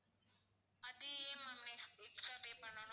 அது ஏன் ma'am ex~ extra pay பண்ணணும்?